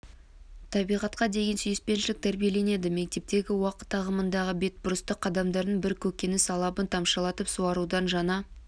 табиғатқа деген сүйіспеншілік тәрбиеленеді мектептегі уақыт ағымындағы бетбұрысты қадамдардың бірі көкөніс алабын тамшылатып суарудың жаңа